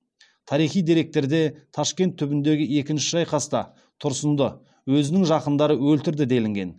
тарихи деректерде ташкент түбіндегі екінші шайқаста тұрсынды өзінің жақындары өлтірді делінген